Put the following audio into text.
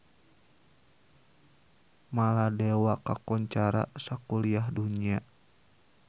Maladewa kakoncara sakuliah dunya